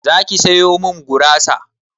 Zaki sayo min gurasa?